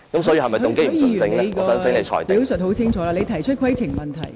許議員，你已清楚提出你的規程問題。